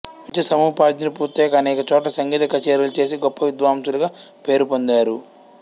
విద్యా సముపార్జన పూర్తయాక అనేక చోట్ల సంగీత కచేరీలు చేసి గొప్ప విద్వాంసులుగా పేరు పొందారు